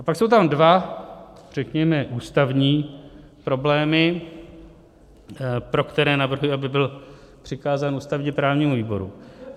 A pak jsou tam dva, řekněme, ústavní problémy, pro které navrhuji, aby byl přikázán ústavně-právnímu výboru.